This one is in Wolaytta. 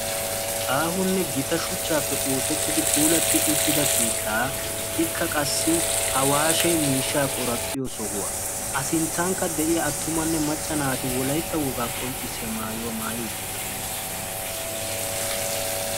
aahonne gita shuchaappe oosetidi puulatida keettaa ikka qassi awaashe miishaa qoraphiyo sohuwa. a sintankka attumanne macca naati wolaytta wogaa qoncissiya maayuwa maayi uttidosona.